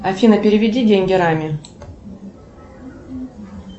афина переведи деньги раме